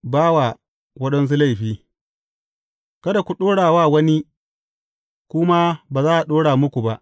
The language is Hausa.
Ba wa waɗansu laifi Kada ku ɗora wa wani, ku ma ba za a ɗora muku ba.